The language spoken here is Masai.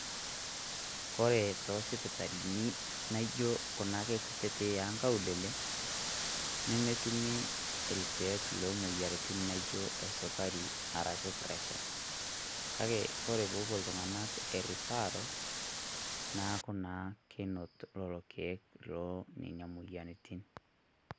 Kore to sipitali naijo kuna ake nkuititi e nkaulele, nemeetum ilkiek le moyarritin naijo esukari arashu presha. Kaki kore pee epoo iltung'anak erifaral naaku naa keinoot lolo lkiek lo nenia moyarritin.